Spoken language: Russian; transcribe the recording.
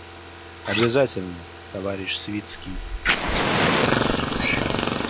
обязательно товарищ свицкий